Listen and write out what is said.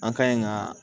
An ka ɲi ka